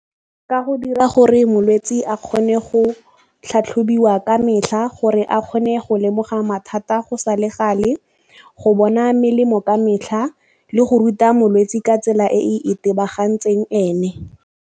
Ka go dira gore molwetse a kgone go tlhatlhobiwa ka metlha gore a kgone go lemoga mathata go sa le gale, go bona melemo ka metlha le go ruta molwetse ka tsela e e itebagantseng ene.